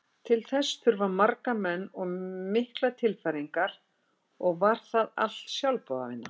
Til þess þurfti marga menn og miklar tilfæringar og var það allt sjálfboðavinna.